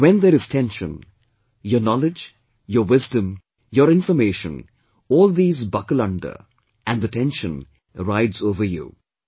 But when there is tension, your knowledge, your wisdom, your information all these buckle under and the tension rides over you